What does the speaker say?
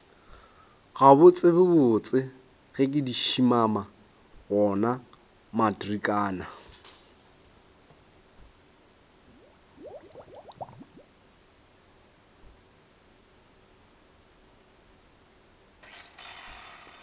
gabotsebotse ke šimama wona matrikana